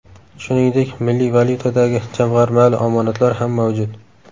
Shuningdek, milliy valyutadagi jamg‘armali omonatlar ham mavjud.